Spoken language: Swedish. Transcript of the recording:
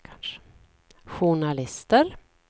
journalister